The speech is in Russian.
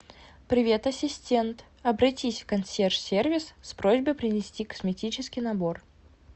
привет ассистент обратись в консьерж сервис с просьбой принести косметический набор